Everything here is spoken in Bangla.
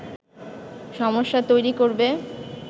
সমস্যা তৈরি করবে